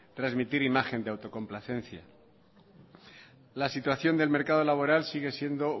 trasmitir imagen de autocomplacencia la situación del mercado laboral sigue siendo